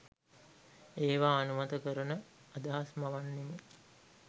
ඒවා අනුමත කරන අදහස් මවන්නෙමු.